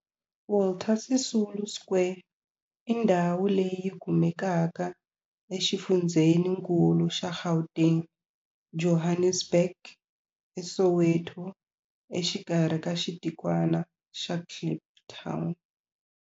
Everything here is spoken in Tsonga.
Walter Sisulu Square i ndhawu leyi kumekaka exifundzheninkulu xa Gauteng, Johannesburg, a Soweto, exikarhi ka xitikwana xa Kliptown.